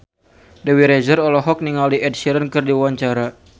Dewi Rezer olohok ningali Ed Sheeran keur diwawancara